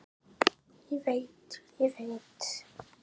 Ég veit, ég veit.